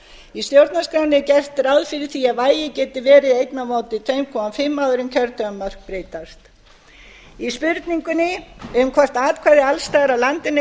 í stjórnarskránni er gert ráð fyrir því að vægi geti verið eitt tvö og hálfs áður en kjördæmamörk breytast í spurningunni um hvort atkvæði alls staðar af landinu